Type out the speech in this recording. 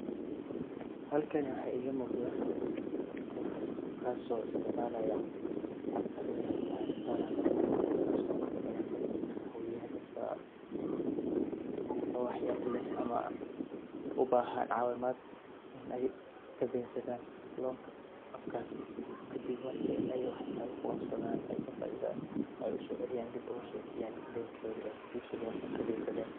Halkani waxa iga muqda qof, kaas oo isticmaalaya appka loo yaqaano tala loan taaso inta badan dadka kacaawiya dad wax yar leh ama u bahan caawimad inay kadensadan loanka apkasi kadib marki ay waxba kuqabsadan ay ka faa'iidan ay uso celiyan ay dib oguso celiyan dentoodi ay kadensadeen